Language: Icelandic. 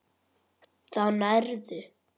Þá nærðu.